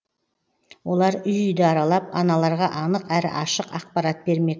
олар үй үйді аралап аналарға анық әрі ашық ақпарат бермек